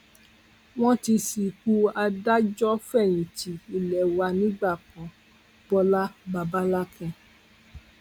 wọn ti sìnkú adájọfẹyìntì ilé wa nígbà kan bọlá babalakín